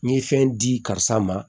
N ye fɛn di karisa ma